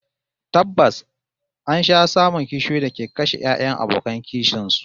Tabbas an sha samun kishiyoyi da ke kashe 'ya'yan abokan kishin su